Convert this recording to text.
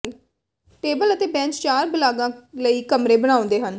table ਅਤੇ bench ਚਾਰ ਬਾਲਗ਼ਾਂ ਲਈ ਕਮਰੇ ਬਣਾਉਂਦੇ ਹਨ